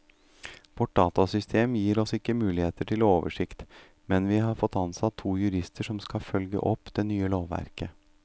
Vårt datasystem gir oss ikke mulighet til oversikt, men vi har fått ansatt to jurister som skal følge opp det nye lovverket.